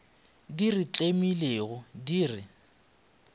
di re tlemilego di re